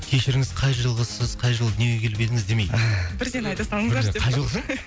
кешіріңіз қай жылғысыз қай жылы дүниеге келіп едіңіз демеймін бірден айта салыңыздаршы деп па қай жылғысың